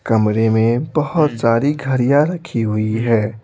कमरे में बहुत सारी घरियां रखी हुई है।